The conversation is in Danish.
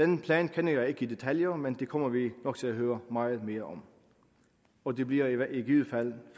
den plan kender jeg ikke i detaljer men det kommer vi nok til at høre meget mere om og det bliver i givet fald